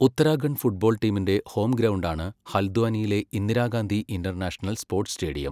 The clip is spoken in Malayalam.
ഉത്തരാഖണ്ഡ് ഫുട്ബോൾ ടീമിന്റെ ഹോം ഗ്രൗണ്ടാണ് ഹൽദ്വാനിയിലെ ഇന്ദിരാഗാന്ധി ഇന്റർനാഷണൽ സ്പോർട്സ് സ്റ്റേഡിയം.